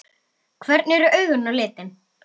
Hvernig eru augun á litinn?